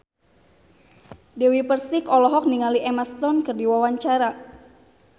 Dewi Persik olohok ningali Emma Stone keur diwawancara